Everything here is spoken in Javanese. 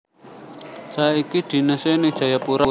Saiki dinese ning Jayapura